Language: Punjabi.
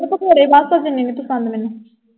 ਪਕੌੜੇ ਨੀ ਪਸੰਦ ਮੈਨੂੰ।